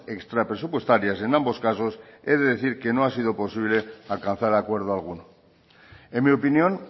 extrapresupuestarias en ambos casos he de decir que no ha sido posible alcanzar acuerdo alguno en mi opinión